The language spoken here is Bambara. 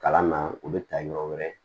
Kalan na u bɛ taa yɔrɔ wɛrɛ